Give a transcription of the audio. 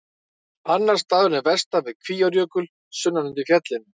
Annar staðurinn er vestan við Kvíárjökul, sunnan undir fjallinu.